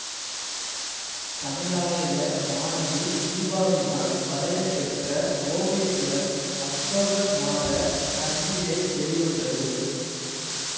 தமிழாலய மாணவி தீபாவினால் வரையப் பெற்ற ஓவியத்துடன் அக்டோபர் மாத சஞ்சிகை வெளிவந்தது